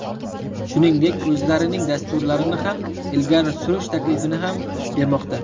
Shuningdek, o‘zlarining dasturlarini ham ilgari surish taklifini ham bermoqda.